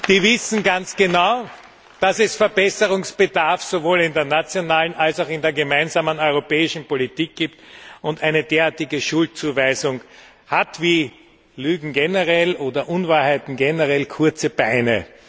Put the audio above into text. die ganz genau wissen, dass es Verbesserungsbedarf sowohl in der nationalen als auch in der gemeinsamen europäischen Politik gibt. Eine derartige Schuldzuweisung hat, wie Lügen oder Unwahrheiten generell, kurze Beine.